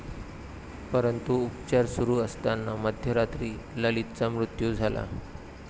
परंतु, उपचार सुरू असताना मध्यरात्री ललितचा मृत्यू झाला.